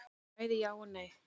Bæði já og nei.